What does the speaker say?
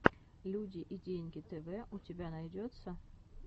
люди и деньги тэвэ у тебя найдется